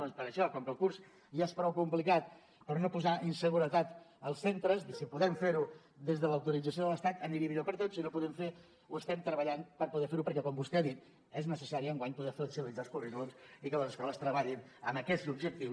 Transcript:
doncs per això com que el curs ja és prou complicat per no posar inseguretat als centres si podem fer ho des de l’autorització de l’estat aniria millor per a tots si no ho podem fer ho estem treballant per poder fer ho perquè com vostè ha dit és necessari enguany poder flexibilitzar els currículums i que les escoles treballin amb aquests objectius